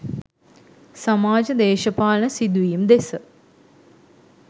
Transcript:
සමාජ දේශපාලන සිදුවීම් දෙස